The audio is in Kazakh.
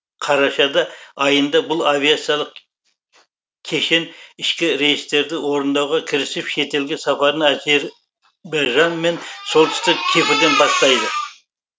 қарашада айында бұл авиациялық кешен ішкі рейстерді орындауға кірісіп шетелге сапарын әзер байжан мен солтүстік кипрден бастайды